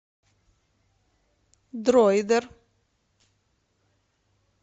дроидер